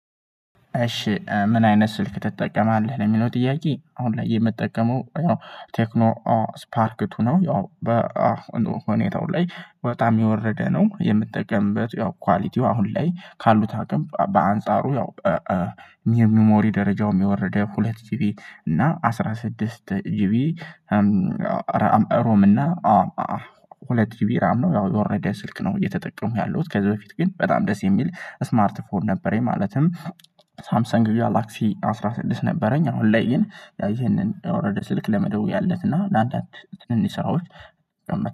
እሺ ምን አይነት ስልክ ትጠቀማለህ? ለሚለው ጥያቄ አሁን ላይ የምጠቀመው ያው ቴክኖ ስፓርክ ቱ ነው። ያው በሁኔታው ላይ በጣም የወረደ ነው የምጠቀምበት። ያው ኳሊቲው አሁን ላይ ካሉት አቅም በአንጻሩ ያው የሚሞሪ ደረጃውም የወረደ ሁለት ጂቢ እና አስራ ስድስት ጂቢ ሮም እና ሁለት ጂቢ ራም ነው። ያው የወረደ ስልክ ነው እየተጠቀምኩ ያለውት። ከዚህ በፊት ግን በጣም ደስ የሚል ስማርት ፎን ነበረኝ። ማለትም ሳምሰንግ ጋላክሲ አስራ ስድስት ነበረኝ አሁን ላይ ግን ይሄንን የወረደ ስልክ ለመደወያነት እና ለአንዳንድ ትንንሽ ሰራዎች።